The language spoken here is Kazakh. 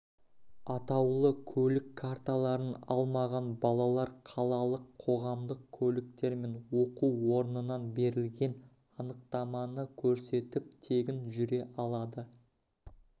атаулы көлік карталарын алмаған балалар қалалық қоғамдық көліктермен оқу орнынан берілген анықтаманы көрсетіп тегін жүре алады